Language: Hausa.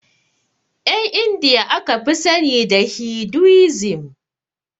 Ƴan indiya aka fi sani da hiduisim